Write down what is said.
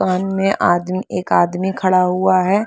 दुकान में आदमी एक आदमी खड़ा हुआ हैं।